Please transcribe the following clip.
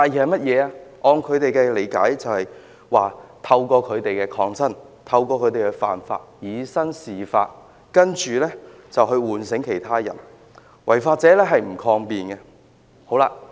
按照他們的理解，便是他們透過抗爭和犯法，以身試法，從而喚醒其他人，而違法者是不會抗辯的。